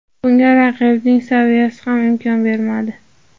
Bunga raqibning saviyasi ham imkon bermadi.